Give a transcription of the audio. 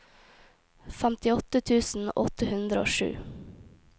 femtiåtte tusen åtte hundre og sju